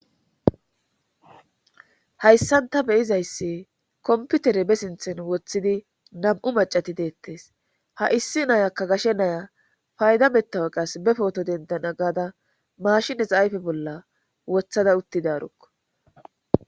hayssanta beyizaysse komputere be sinthen woththidi nam7u macati deettes ha issi nayakka gashe naya fayda mettawe qas be pooto dendana gaada mashines ayfe bolla wothada uttidarukko